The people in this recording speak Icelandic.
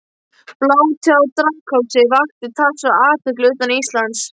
Blótið á Draghálsi vakti talsverða athygli utan Íslands.